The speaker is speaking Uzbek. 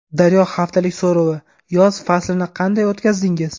Daryo haftalik so‘rovi: Yoz faslini qanday o‘tkazdingiz?.